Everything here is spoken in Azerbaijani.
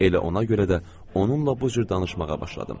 Elə ona görə də onunla bu cür danışmağa başladım.